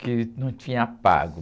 Que não tinha pago.